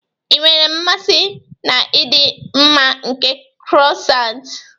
Ị nwere mmasị na ịdị mma nke croissants.